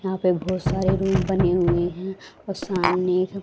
यहां पे बहोत सारे रूम बने हुए हैं और सामने --